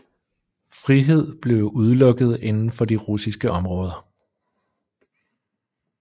Frihed blev udelukket inden for de russiske områder